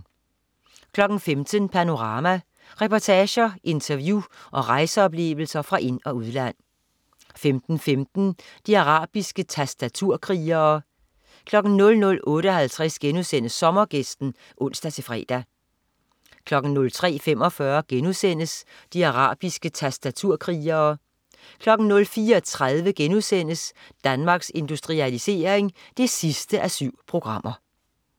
15.00 Panorama. Reportager, interview og rejseoplevelser fra ind- og udland 15.15 De arabiske tastaturkrigere 00.58 Sommergæsten* (ons-fre) 03.45 De arabiske tastaturkrigere* 04.30 Danmarks Industrialisering 7:7*